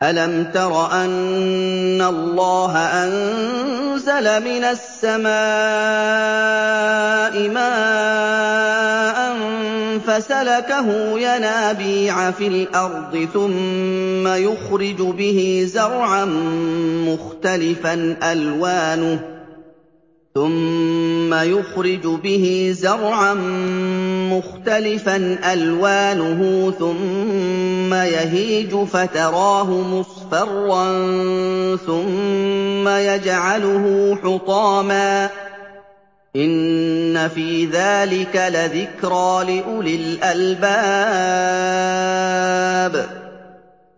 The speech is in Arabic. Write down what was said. أَلَمْ تَرَ أَنَّ اللَّهَ أَنزَلَ مِنَ السَّمَاءِ مَاءً فَسَلَكَهُ يَنَابِيعَ فِي الْأَرْضِ ثُمَّ يُخْرِجُ بِهِ زَرْعًا مُّخْتَلِفًا أَلْوَانُهُ ثُمَّ يَهِيجُ فَتَرَاهُ مُصْفَرًّا ثُمَّ يَجْعَلُهُ حُطَامًا ۚ إِنَّ فِي ذَٰلِكَ لَذِكْرَىٰ لِأُولِي الْأَلْبَابِ